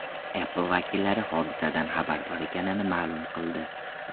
Apple vakillari hodisadan xabardor ekanini ma’lum qildi.